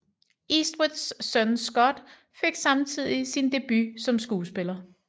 Eastwoods søn Scott fik samtidig sin debut som skuespiller